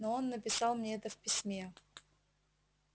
но он написал мне это в письме